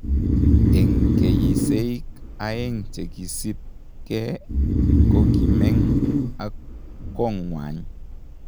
Eng keyiseik aeg chekisipnge, kokimeng ak konywan